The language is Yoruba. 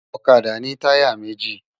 Òkàdá ni tàyá méji